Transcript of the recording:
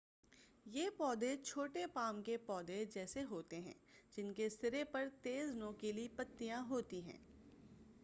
یہ پودے چھوٹے پام کے پودے جیسے ہوتے ہیں جن کے سرے پر تیز نوکیلی پتیاں ہوتی ہیں